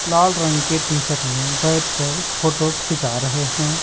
लाल रंग के टी-शर्ट में बैठकर फोटो खिंचा रहे हैं।